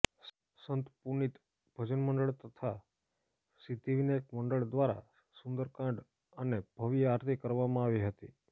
સંત પુનિત ભજન મંડળ તથા સિદ્ધિવિનાયક મંડળ દ્વારા સુંદરકાંડ અને ભવ્ય આરતી કરવામાં આવી હતી